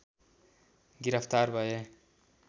गिरफ्तार भए